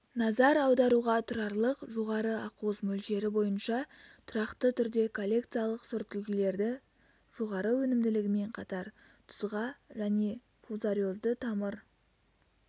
назар аударуға тұрарлық жоғары ақуыз мөлшері бойынша тұрақты түрде коллекциялық сортүлгілері жоғары өнімділігімен қатар тұзға және фузариозды тамыр